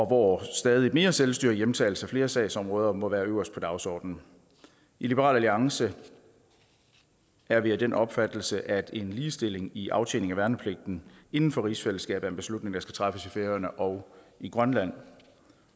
hvor stadig mere selvstyre og hjemtagelse af flere sagsområder må være øverst på dagsordenen i liberal alliance er vi af den opfattelse at en ligestilling i aftjening af værnepligten inden for rigsfællesskabet er en beslutning der skal træffes i færøerne og i grønland